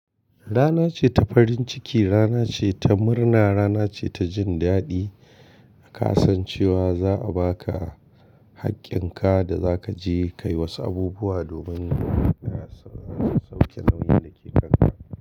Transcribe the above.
Rana ce ta farin ciki, rana ce ta murna, rana ce ta jin daɗi. Ka san chewa za a baka hakkinka da zakaje kayi wasu abubuwa domin kaje sauke nauyin dake kanka.